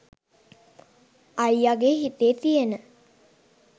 අයියගේ හිතේ තියෙන